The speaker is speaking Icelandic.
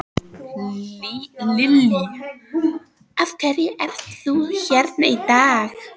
Lillý: Af hverju ert þú hér í dag?